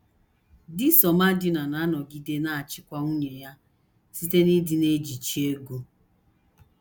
Di Somadina na - anọgide na - achịkwa nwunye ya site n’ịdị na - ejichi ego.